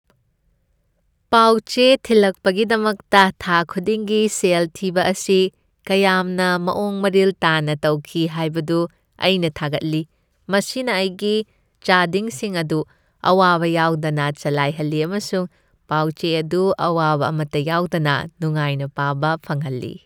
ꯄꯥꯎ ꯆꯦ ꯊꯤꯜꯂꯛꯄꯒꯤꯗꯃꯛꯇ ꯊꯥ ꯈꯨꯗꯤꯡꯒꯤ ꯁꯦꯜ ꯊꯤꯕ ꯑꯁꯤ ꯀꯌꯥꯝꯅ ꯃꯑꯣꯡ ꯃꯔꯤꯜ ꯇꯥꯅ ꯇꯧꯈꯤ ꯍꯥꯏꯕꯗꯨ ꯑꯩ ꯊꯥꯒꯠꯂꯤ꯫ ꯃꯁꯤꯅ ꯑꯩꯒꯤ ꯆꯥꯗꯤꯡꯁꯤꯡ ꯑꯗꯨ ꯑꯋꯥꯕ ꯌꯥꯎꯗꯅ ꯆꯂꯥꯏꯍꯜꯂꯤ ꯑꯃꯁꯨꯡ ꯄꯥꯎ ꯆꯦ ꯑꯗꯨ ꯑꯋꯥꯕ ꯑꯃꯇ ꯌꯥꯎꯗꯅ ꯅꯨꯡꯉꯥꯏꯅ ꯄꯥꯕ ꯐꯪꯍꯟꯂꯤ꯫